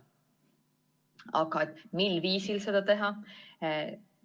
Aga mil viisil seda teha?